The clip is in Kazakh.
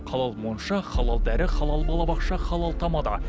халал монша халал дәрі халал балабақша халал тамада